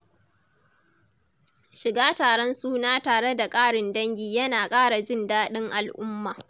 Shiga taron suna tare da ƙarin dangi yana ƙara jin daɗin al’umma.